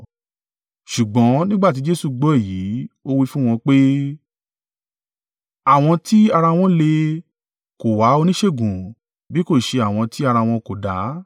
Ṣùgbọ́n nígbà tí Jesu gbọ́ èyí, ó wí fún wọn pé, “Àwọn tí ara wọ́n le kò wá oníṣègùn bí kò ṣe àwọn tí ara wọn kò dá.